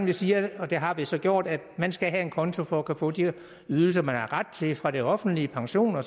vi siger og det har vi så gjort at man skal have en konto for at kunne få de ydelser man har ret til fra det offentlige pensioner